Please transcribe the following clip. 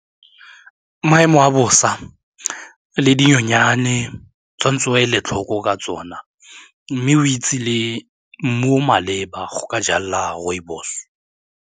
Maemo a bosa le dinyonyane tshwanetse o ele tlhoko ka tsona mme o itse le mmu o o maleba go ka jala rooibos.